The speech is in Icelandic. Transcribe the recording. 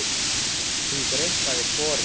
Hún greikkaði sporið.